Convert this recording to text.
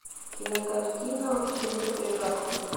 кинокартина к чему то прекрасному